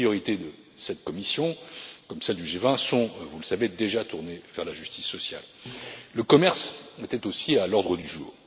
Les priorités de cette Commission, comme celles du G20 sont, vous le savez, déjà tournées vers la justice sociale. Le commerce était aussi à l'ordre du jour.